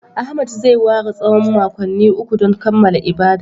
Ahmed zai ware tsawon makonni uku don kammala ibadar